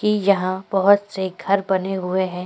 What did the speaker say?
कि यहाँ बहुत से घर बने हुए हैं।